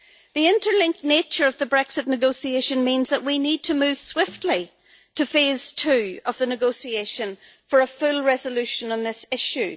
The interlinked nature of the Brexit negotiations means that we need to move swiftly to phase two of the negotiations for a full resolution on this issue.